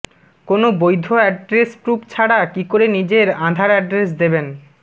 কোন বৈধ address proof ছাড়া কি করে নিজের আধার অ্যাড্রেস দেবেন